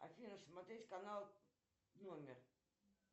афина смотреть канал номер